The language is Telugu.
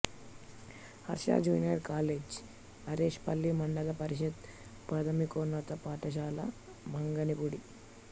హర్ష జూనియర్ కాలేజి అరిశేపల్లి మండల పరిషత్ ప్రాథమికోన్నత పాఠశాల మంగినపూడి